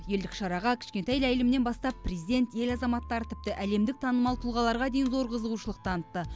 елдік шараға кішкентай ләйлімнен бастап президент ел азаматтары тіпті әлемдік танымал тұлғаларға дейін зор қызығушылық танытты